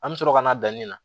An mi sɔrɔ ka na danni na